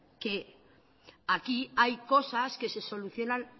que aquí hay cosas que se solucionan